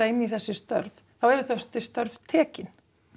inn í þessi störf þá eru þessi störf tekin